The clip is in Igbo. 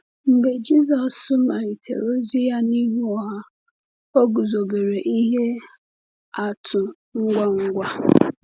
Mgbe Jisọs malitere ozi ya n’ihu ọha, o guzobere ihe atụ ngwa ngwa.